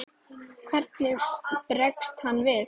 Hvernig bregst hann við?